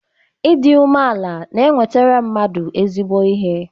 Ịdị umeala na-enwetara mmadụ ezigbo ihe.